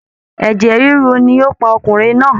Ẹ̀jẹ̀ ríru ni ó pa ọkùnrin náà